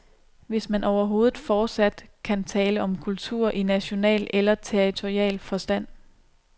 Hvis man overhovedet fortsat kan tale om kulturer i national eller territorial forstand.